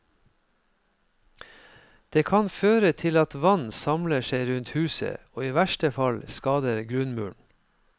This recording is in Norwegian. Det kan føre til at vann samler seg rundt huset og i verste fall skader grunnmuren.